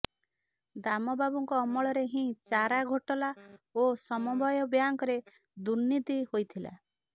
ଦାମ ବାବୁଙ୍କ ଅମଳରେ ହିଁ ଚାରା ଘୋଟାଲା ଓ ସମବାୟ ବ୍ୟାଙ୍କରେ ଦୁର୍ନୀତି ହୋଇଥିଲା